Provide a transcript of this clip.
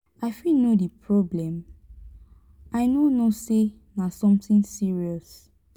i fit know di problem? i no know say na something serious.